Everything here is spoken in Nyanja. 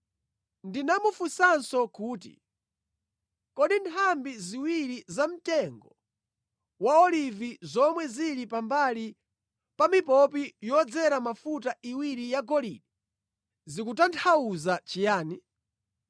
Ndinamufunsanso kuti, “Kodi nthambi ziwiri za mtengo wa olivi zomwe zili pambali pa mipopi yodzera mafuta iwiri yagolide zikutanthauza chiyani?”